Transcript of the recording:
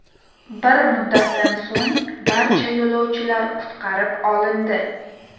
Bir muddatdan so‘ng barcha yo‘lovchilar qutqarib olindi.